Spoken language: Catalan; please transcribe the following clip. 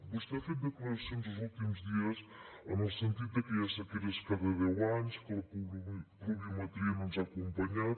vostè ha fet declaracions els últims dies en el sentit de que hi ha sequeres cada deu anys que la pluviometria no ens ha acompanyat